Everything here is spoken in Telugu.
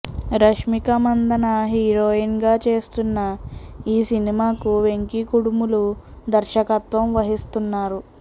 రష్మిక మందన్న హీరోయిన్ గా చేస్తున్న ఈ సినిమాకు వెంకీ కుడుములు దర్శకత్వం వహిస్తున్నారు